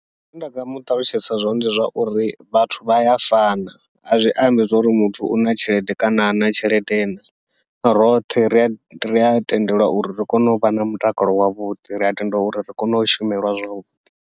Zwine nda nga muṱalutshedza zwone ndi zwa uri vhathu vha ya fana, azwi ambi zwa uri muthu una tshelede kana hana tshelede na, roṱhe ri a ri a tendelwa uri ri kone uvha na mutakalo wavhuḓi ria tenda uri ri kone u shumela zwavhuḓi.